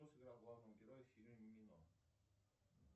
кто сыграл главного героя в фильме мимино